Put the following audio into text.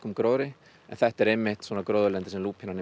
gróðri en þetta er einmitt svona gróðurlendi sem lúpínan er